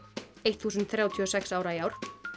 þúsund þrjátíu og sex ára í ár